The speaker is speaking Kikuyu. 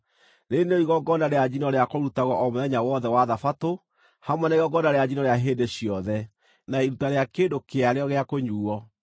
Rĩĩrĩ nĩrĩo igongona rĩa njino rĩa kũrutagwo o mũthenya wothe wa Thabatũ, hamwe na igongona rĩa njino rĩa hĩndĩ ciothe, na iruta rĩa kĩndũ kĩarĩo gĩa kũnyuuo.